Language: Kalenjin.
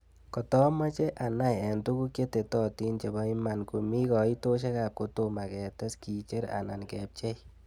Kotoomoche anai eng' tuguk chetetotin chepo iiman komii kaiitosiekap kotooma keetes kiicher anan kebcheii